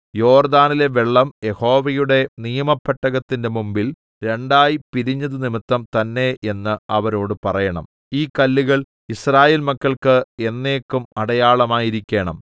യോർദ്ദാനിലെ വെള്ളം യഹോവയുടെ നിയമപെട്ടകത്തിന്റെ മുമ്പിൽ രണ്ടായി പിരിഞ്ഞതുനിമിത്തം തന്നേ എന്ന് അവരോട് പറയേണം ഈ കല്ലുകൾ യിസ്രായേൽ മക്കൾക്ക് എന്നേക്കും അടയാളമായിരിക്കേണം